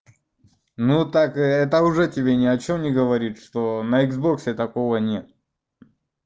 ну так это уже тебе ни о чём не говорит что на иксбоксе такого нет